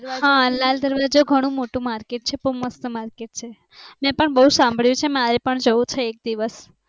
હા લાલ દરવાજા ઘણુ મોટુ માર્કેટ છે બઉ મસ્ત માર્કેટ છે મે પણ બઉ સાંભળ્યુ છે મારે પણ જઉ છે એક દિવસ